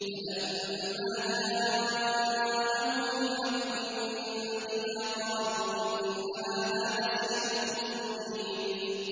فَلَمَّا جَاءَهُمُ الْحَقُّ مِنْ عِندِنَا قَالُوا إِنَّ هَٰذَا لَسِحْرٌ مُّبِينٌ